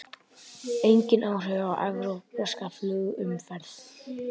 Engin áhrif á evrópska flugumferð